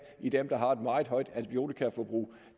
i dem der har et meget højt antibiotikaforbrug og